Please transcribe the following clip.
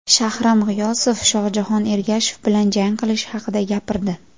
Shahram G‘iyosov Shohjahon Ergashev bilan jang qilishi haqida gapirdi .